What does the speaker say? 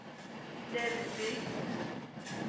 Lebesby